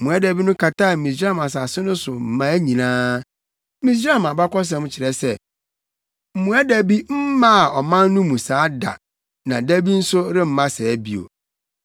Mmoadabi no kataa Misraim asase no so mmaa nyinaa. Misraim abakɔsɛm kyerɛ se, mmoadabi mmaa ɔman no mu saa da na bi nso remma saa bio.